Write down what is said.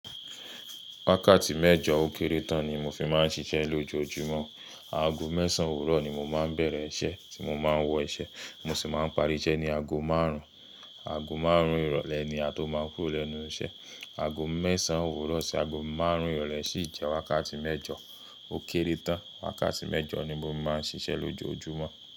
Wákàtí mẹ́jọ ó kéré tán ni mo fi máa ń ṣiṣẹ́ lójoojúmọ́. Aago mẹ́sàn-án òwúrọ̀ ni mo máa ń bẹ̀rẹ̀ iṣẹ́ tí mo máa ń wọ iṣẹ́, mo sì máa ń parí iṣẹ́ ní aago márùn-ún. Aago márùn-ún ìrọ̀lẹ́ ni a tó máa ń kúrò lẹ́nu iṣẹ́. Aago mẹ́sàn-án òwúrọ̀ sí aago márùn-ún ìrọ̀lẹ́ sì jẹ́ wákàtí mẹ́jọ ó kéré tán. Wákàtí mẹ́jọ ni mo máa ń ṣiṣẹ́ lójoojúmọ́.